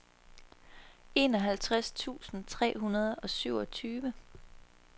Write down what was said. enoghalvtreds tusind tre hundrede og syvogtyve